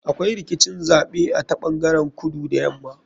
Akwai rikicin zaɓe a ta ɓangaren kudu da yama.